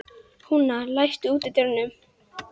Húna, læstu útidyrunum.